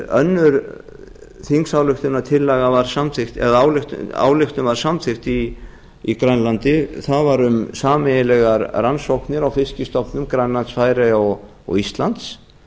önnur ályktun var samþykkt í grænlandi það var um sameiginlegar rannsóknir á fiskstofnum grænlands færeyja og íslands